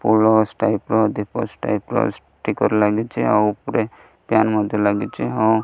ଅଲଗା ଷ୍ଟାଇପ୍ ର ଦ୍ଵୀପ ଷ୍ଟାଇପ୍ ର ଷ୍ଟିକର ଲାଗିଛି ଆଉ ଉପରେ କେପ ମଧ୍ୟ ଲାଗିଛି।